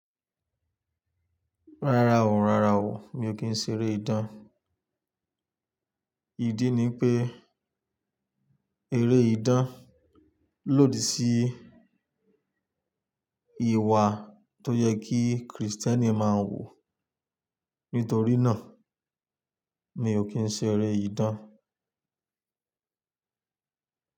Rárá o, rárá o, mi ò kí ń ṣe eré idan. Ìdí ni pé eré idán lòdì sí ìwà tó yẹ kí Kristẹni máa wù. Nítorí náà, mi ò kí ń ṣe eré idán.